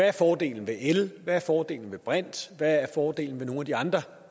er fordelen ved el hvad der er fordelen ved brint og hvad der er fordelen ved nogle af de andre